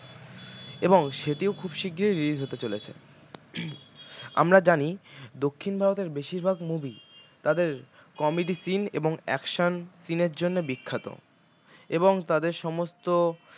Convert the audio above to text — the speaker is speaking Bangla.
এবং সেটিও খুব শিগগিরই release হতে চলেছে আমরা জানি দক্ষিণ ভারতের বেশীরভাগ movie তাদের comedy scene এবং action scene এর জন্য বিখ্যাত এবং তাদের সমস্ত